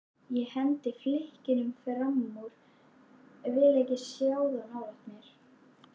Ég hendi flikkinu framúr, vil ekki sjá það nálægt mér.